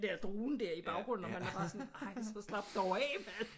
Der drone der i baggrunden og man er bare sådan ej så slap dog af mand